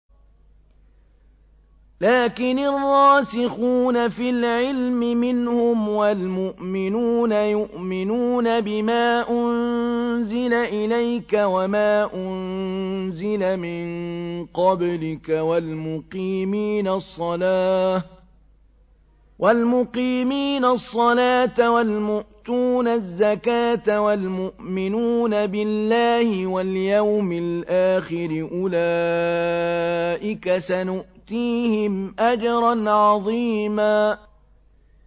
لَّٰكِنِ الرَّاسِخُونَ فِي الْعِلْمِ مِنْهُمْ وَالْمُؤْمِنُونَ يُؤْمِنُونَ بِمَا أُنزِلَ إِلَيْكَ وَمَا أُنزِلَ مِن قَبْلِكَ ۚ وَالْمُقِيمِينَ الصَّلَاةَ ۚ وَالْمُؤْتُونَ الزَّكَاةَ وَالْمُؤْمِنُونَ بِاللَّهِ وَالْيَوْمِ الْآخِرِ أُولَٰئِكَ سَنُؤْتِيهِمْ أَجْرًا عَظِيمًا